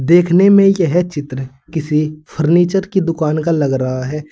देखने में यह चित्र किसी फर्नीचर की दुकान का लग रहा है।